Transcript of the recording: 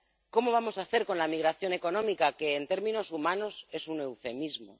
¿Cómo vamos a hacer con la migración económica que, en términos humanos, es un eufemismo?